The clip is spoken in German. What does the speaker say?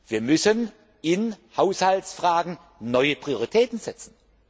Wir müssen in Haushaltsfragen neue Prioritäten setzen.